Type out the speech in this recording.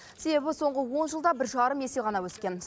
себебі соңғы он жылда бір жарым есе ғана өскен